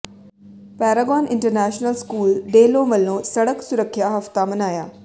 Paragon international school Dehlon ਵਲੋਂ ਸੜਕ ਸੁਰੱਖਿਆ ਹਫ਼ਤਾ ਮਨਾਇਆ